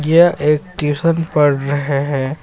यह एक ट्यूशन पढ़ रहे हैं.